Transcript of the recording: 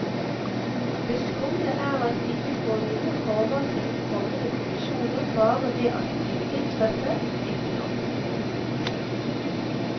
Det skumle er at vi ikke får noe forvarsel om kommende kollisjoner, bare ved at de vil inntreffe, ikke når.